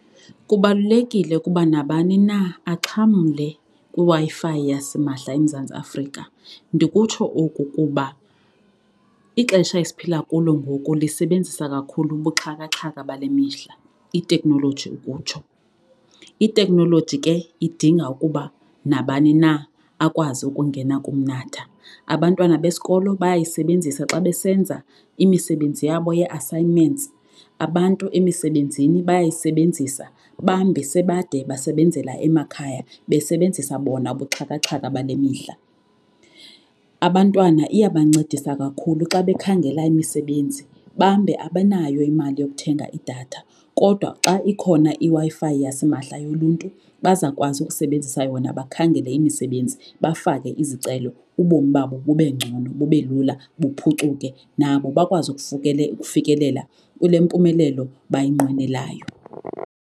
Kubalulekile ukuba nabani na axhamle kwiWi-Fi yasimahla eMzantsi Afrika. Ndikutsho oku kuba ixesha esiphila kulo ngoku lisebenzisa kakhulu ubuxhakaxhaka bale mihla iteknoloji ukutsho. Iteknoloji ke idinga ukuba nabani na akwazi ukungena kumnatha. Abantwana besikolo bayayisebenzisa xa besenza imisebenzi yabo ye-assignments, abantu emisebenzini bayayisebenzisa bambi sebade basebenzela emakhaya besebenzisa bona ubuxhakaxhaka bale mihla. Abantwana iyabancedisa kakhulu xa bekhangela imisebenzi bambe abanayo imali yokuthenga idatha, kodwa xa ikhona iWi-Fi yasimahla yoluntu bazawukwazi ukusebenzisa yona bakhangele imisebenzi bafake izicelo ubomi babo bube ngcono bube lula buphucuke nabo bakwazi ukufikelela kule mpumelelo bayinqwenelayo.